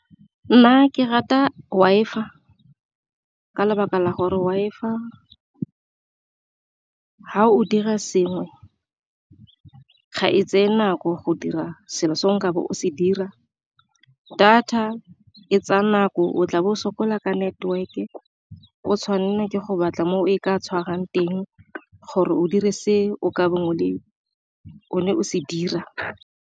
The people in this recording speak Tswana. Nna ke rata Wi-Fi ka lebaka la gore Wi-Fi fa o dira sengwe ga e tseye nako go dira selo se nkabe o se dira, data e tsaya nako o tla bo sokola ka network-e o tshwanela ke go batla mo e ka tshwarang teng gore o dire se o ka o ne o se dira.